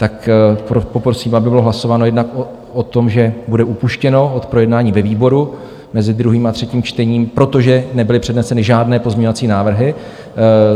Tak poprosím, aby bylo hlasováno jednak o tom, že bude upuštěno od projednání ve výboru mezi druhým a třetím čtením, protože nebyly předneseny žádné pozměňovací návrhy.